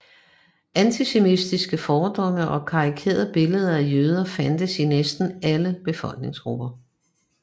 Antisemitiske fordomme og karikerede billeder af jøder fandtes i næsten alle befolkningsgrupper